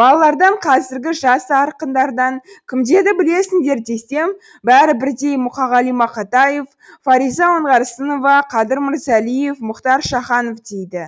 балалардан қазіргі жас ақындардан кімдерді білесіңдер десем бәрі бірдей мұқағали мақатаев фариза оңғарсынова қадыр мырзалиев мұхтар шаханов дейді